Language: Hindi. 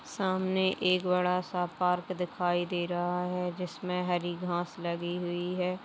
सामने एक बड़ा सा पार्क दिखाई दे रहा है । जिसमे हरी घास लगी हुई है ।